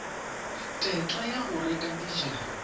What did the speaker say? tetla ya go reka dijalo